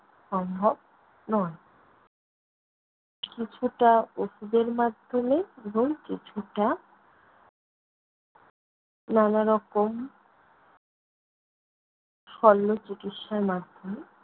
সম্ভব নয়। কিছুটা ঔষধের মাধ্যমে এবং কিছুটা নানা রকম শল্য চিকিৎসার মাধ্যমে